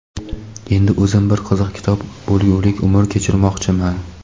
endi o‘zim bir qiziq kitob bo‘lgulik umr kechirmoqchiman..